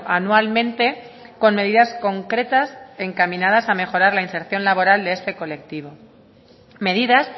anualmente con medidas concretas encaminadas a mejorar la inserción laboral de este colectivo medidas